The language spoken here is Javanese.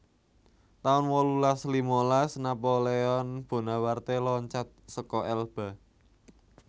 taun wolulas limalas Napoleon Bonaparte loncat seka Elba